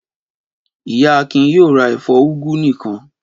Ìyá Akin yóò ra ẹ̀fọ́ úgú nìkan.